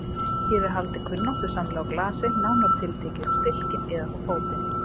Hér er haldið kunnáttusamlega á glasi, nánar tiltekið um stilkinn, eða þá fótinn.